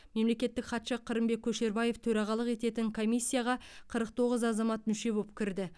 мемлекеттік хатшы қырымбек көшербаев төрағалық ететін комиссияға қырық тоғыз азамат мүше боп кірді